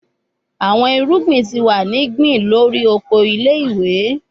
Awọn irugbin ti wa ni gbin lori oko ile-iwe